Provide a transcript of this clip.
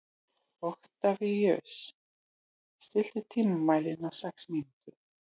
Oktavíus, stilltu tímamælinn á sex mínútur.